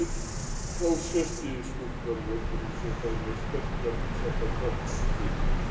Þá sest ég í skuggann á öldurhúsi og fæ mér sterkan svartan kaffi.